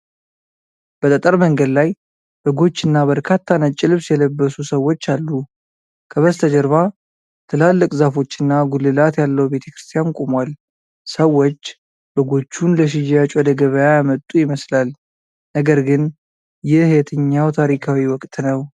በጠጠር መንገድ ላይ በጎች እና በርካታ ነጭ ልብስ የለበሱ ሰዎች አሉ። ከበስተጀርባ ትላልቅ ዛፎች እና ጉልላት ያለው ቤተክርስቲያን ቁሟል። ሰዎች በጎቹን ለሽያጭ ወደ ገበያ ያመጡ ይመስላል፣ ነገር ግን ይህ የትኛው ታሪካዊ ወቅት ነው?